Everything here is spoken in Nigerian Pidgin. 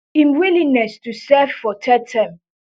im willingness to serve for third term